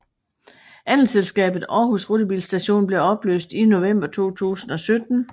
Andelsselskabet Aarhus rutebilstation blev opløst i november 2017